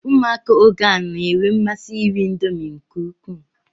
Ụmụaka oge a na-enwe mmasi iri Indomi nke ukwuu